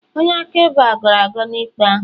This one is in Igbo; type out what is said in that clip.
onye akaebe a gọrọ agọ na ikpe ahụ